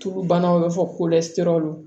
Tulu banaw bɛ fɔ ko lɛsiraw